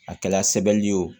A kɛla sɛbɛnli ye o